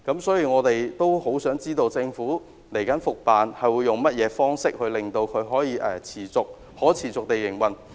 所以，我們很想知道政府接下來會用甚麼方式令渡輪可持續營運。